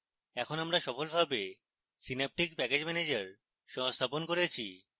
এখন আমরা সফলভাবে synaptic package manager সংস্থাপন করেছি